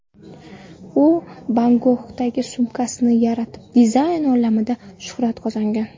U Bagonghi sumkasini yaratib, dizayn olamida shuhrat qozongan.